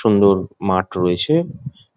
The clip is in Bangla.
সুন্দর মাঠ রয়েছে